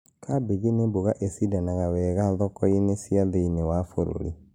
Kambĩji nĩ mboga icindanaga wega thoko-inĩ cia thĩiniĩ wa bũrũri